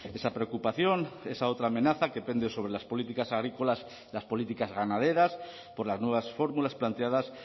esa preocupación esa otra amenaza que pende sobre las políticas agrícolas las políticas ganaderas por las nuevas fórmulas planteadas